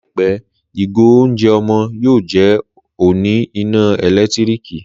Láìpẹ́, ìgò oúnjẹ ọmọ yóò jẹ́ oní iná ẹ̀lẹ́tíríkì